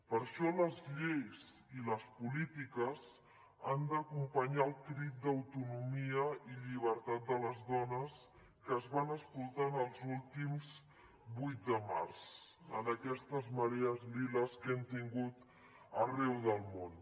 per això les lleis i les polítiques han d’acompanyar el crit d’autonomia i llibertat de les dones que es van escoltant els últims vuit de març en aquestes marees liles que hem tingut arreu del món